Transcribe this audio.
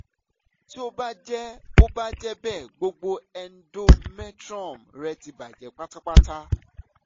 ti o ba jẹ o ba jẹ bẹ gbogbo endometrium rẹ ti bajẹ patapata